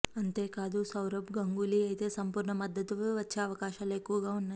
అంతేకాదు సౌరబ్ గంగూలీ అయితే సంపూర్ణ మద్దతు వచ్చే అవకాశాలు ఎక్కువగా ఉన్నాయి